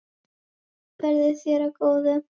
Verði þér að góðu.